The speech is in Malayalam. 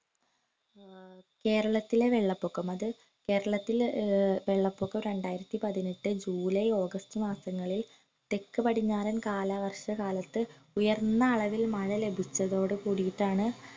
ആഹ് കേരളത്തിലെ വെള്ളപൊക്കം അത് കേരളത്തില് ഏർ വെള്ളപൊക്കം രണ്ടായിരത്തി പതിനെട്ട് ജൂലൈ ഓഗസ്റ്റ് മാസങ്ങളിൽ തെക്ക് പടിഞ്ഞാറൻ കാലവർഷ കാലത്ത് ഉയർന്ന അളവിൽ മഴ ലഭിച്ചതോടു കൂടിട്ടാണ്